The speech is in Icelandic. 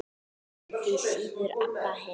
Því síður Abba hin.